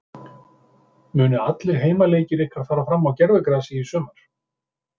Munu allir heimaleikir ykkar fara fram á gervigrasi í sumar?